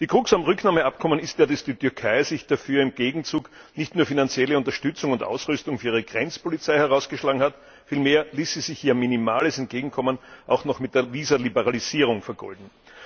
Die Krux beim Rücknahmeabkommen ist ja, dass die Türkei sich dafür im Gegenzug nicht nur finanzielle Unterstützung und Ausrüstung für ihre Grenzpolizei herausgeschlagen hat, vielmehr ließ sie sich ihr minimales Entgegenkommen auch noch mit der Visaliberalisierung vergolden.